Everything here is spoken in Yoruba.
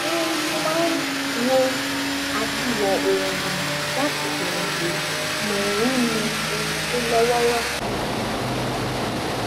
mo máa wo àtiwò́ oòrùn láti fèrèsé mo ń mu ohun tó lówóró